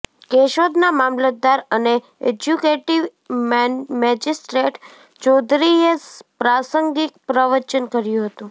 કેશોદના મામલતદાર અને executive magistrate ચોધરીએ પ્રાસંગિક પ્રવચન કર્યું હતું